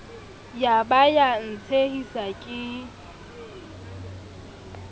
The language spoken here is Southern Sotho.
ya ba ya ntshehisa ke